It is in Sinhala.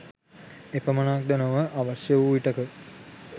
එපමණක් ද නොව අවශ්‍ය වූ විටෙක